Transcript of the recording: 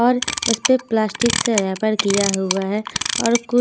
और उसे पे प्लास्टिक से रैपर किया हुआ है और कुछ--